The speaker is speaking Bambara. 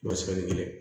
Masakɛ ni kɛlɛ